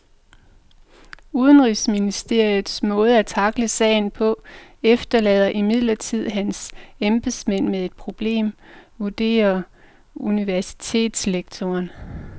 Udenrigsministerens måde at tackle sagen på efterlader imidlertid hans embedsmænd med et problem, vurderer universitetslektoren.